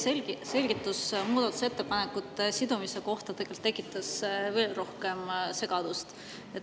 Teie selgitus muudatusettepanekute sidumise kohta tegelikult tekitas veel rohkem segadust.